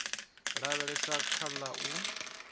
lavhelesa kha tsha u ḽa